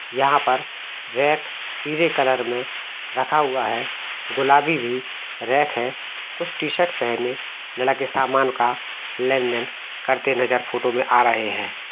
यहाँ पर रेत पीले कलर में रखा हुआ है गुलाबी भी रेख है कुछ टीशर्ट पेहने लड़के सामान का लेन-देन करते नजर फोटो आ रहे है।